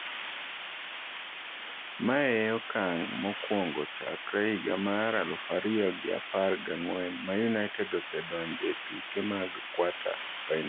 Mae e okang' mokwongo chakre higa mar aluf ariyo gi apargi ang'wen ma United osedonjoe e tuke mag kwata-final.